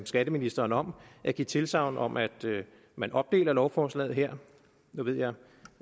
skatteministeren om at give tilsagn om at man opdeler lovforslaget her nu ved jeg